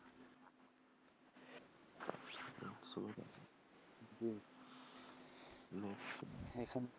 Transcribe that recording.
এখান,